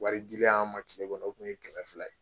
Wari jelilen an ma kile kɔnɔ, o kun ye kɛmɛ fila ye